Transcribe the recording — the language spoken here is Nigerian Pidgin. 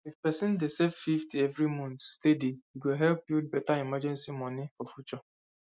if person dey save 50 every month steady e go help build better emergency money for future